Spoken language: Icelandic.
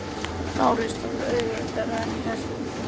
LÁRUS: Það var auðveldara en ég hélt.